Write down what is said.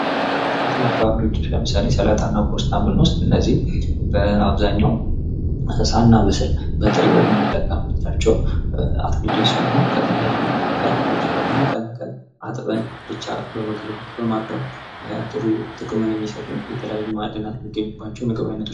ሙዝ: ጣፋጭና ገንቢ የሆነ ሞቃታማ የአየር ንብረት ፍሬ ነው። ፖታሲየምና ሌሎች ጠቃሚ ንጥረ ነገሮችን በብዛት ይዟል።